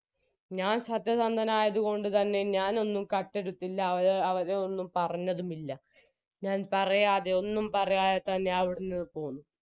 ഞാൻ സത്യസന്ധനായത് കൊണ്ട്തന്നെ ഞാനൊന്നും കട്ടെടുത്തില്ല അവരെ അവരെയൊന്നും പറഞ്ഞതും ഇല്ല ഞാൻ പറയാതെ ഒന്നും പറയാതെ തന്നെ അവിടുന്ന് പൊന്നു